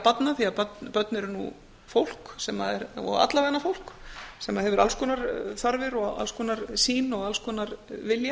barna því að börn eru nú fólk og allavega fólk sem að hefur alls konar þarfir sýn og vilja